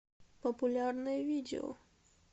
популярное видео